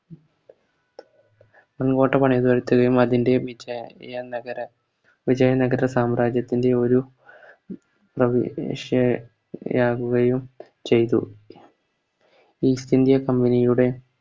മങ്കോട്ട പണിയുക ഇത്രേം അതിൻറെ വിജയ നഗര വിജയ നഗര സാമ്രാജ്യത്തിൻറെയൊരു ആവുകയും ചെയ്തു East india company യുടെ